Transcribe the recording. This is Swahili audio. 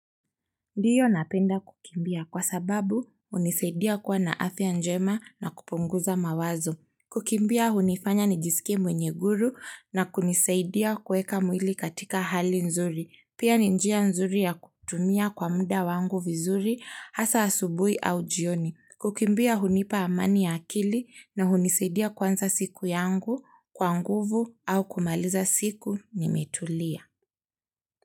Ndiyo napenda kukimbia kwa sababu hunisaidia kuwa na afya njema na kupunguza mawazo. Kukimbia hunifanya nijisike mwenye guru na kunisaidia kueka mwili katika hali nzuri. Pia ni njia nzuri ya kutumia kwa muda wangu vizuri hasa asubui au jioni. Kukimbia hunipa amani ya akili na hunisaidia kuanza siku yangu kwa nguvu au kumaliza siku nimetulia.